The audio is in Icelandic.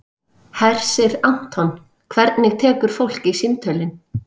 Hersir Aron: Hvernig tekur fólk í símtölin?